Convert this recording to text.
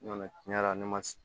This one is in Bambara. Nɔnɔ tiɲɛnna ne man